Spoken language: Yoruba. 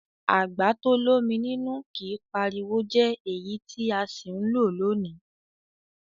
Àgbà to l'ómi nínú kìí pariwo jẹ́ èyí tí a sì ń lò lónìí.